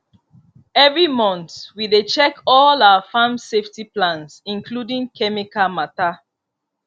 every month we dey check all our farm safety plans including chemical matter